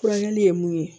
Furakɛli ye mun ye